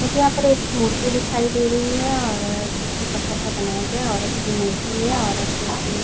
मुझे यहां पर एक मूर्ति दिखाई दे रही है और अ जिसको पत्थर का बनाया गया है। औरत की मूर्ति है। औरत के --